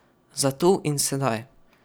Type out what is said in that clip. Za tu in sedaj.